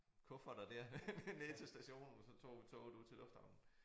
Kufferter der ned til stationen og så tog vi toget ud til Lufthavnen